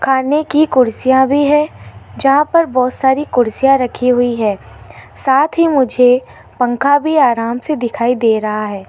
खाने की कुर्सियां भी है जहां पर बहोत सारी कुर्सियां रखी हुई है साथ ही मुझे पंखा भी आराम से दिखाई दे रहा है।